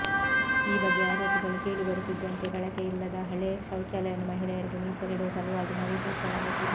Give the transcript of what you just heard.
ಈ ಬಗ್ಗೆ ಆರೋಪಗಳು ಕೇಳಿ ಬರುತಿದ್ದಂತೆ ಬಳಕೆಯಿಲ್ಲದ ಹಳೇ ಶೌಚಲಯವನ್ನುಮಹಿಳೆಯರಿಗೆ ಮೀಸಲಿಡುವ ಸಲುವಾಗಿ ನವೀಕರಿಸಲಾಗುತ್ತಿದೆ